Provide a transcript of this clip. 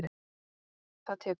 Það tekur